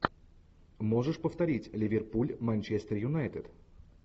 можешь повторить ливерпуль манчестер юнайтед